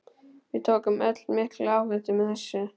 Við tökum öll mikla áhættu með þessu.